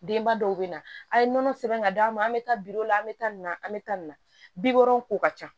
Denba dɔw bɛ na a' ye nɔnɔ sɛbɛn ka d'a ma an bɛ taa biro la an bɛ taa nin na an bɛ taa nin na bi wolon ko ka ca